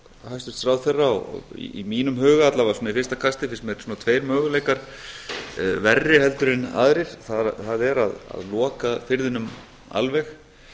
hæstvirts ráðherra og í mínum huga alla vega svona í fyrsta kasti finnst mér svona tveir möguleikar verri en aðrir það er að loka firðinum alveg